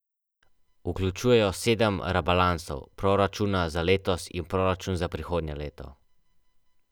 Ocenjevali so akacijev, cvetlični, gozdni, hojev, lipov in kostanjev med, pri tem pa so upoštevali veljavni pravilnik Čebelarske zveze Slovenije.